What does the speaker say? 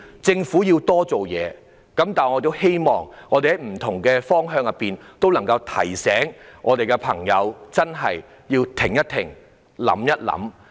政府固然要多做事，但我希望大家也可以在不同方向提醒身邊的朋友要"停一停、想一想"。